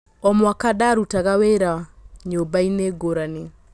O mwaka ndarutaga wĩ ra nyũmbainĩ ngũrani.